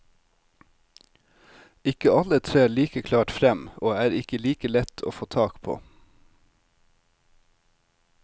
Ikke alle trer like klart frem og er ikke like lett å få tak på.